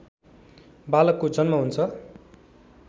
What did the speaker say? बालकको जन्म हुन्छ